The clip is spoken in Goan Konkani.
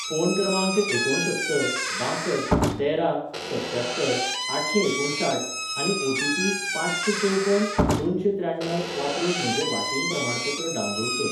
फोन क्रमांक एकुणसत्तर बांसठ तेरा सत्त्यात्तर आठशेंएकुणसाठ आनी ओटीपी पांचशेंचवपन दोनशेंत्र्याण्णव वापरून म्हजें वाशीन प्रमाणपत्र डावनलोड कर